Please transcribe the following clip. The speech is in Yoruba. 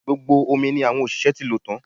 Gbogbo omi ni àwọn òṣìṣẹ́ ti lò tan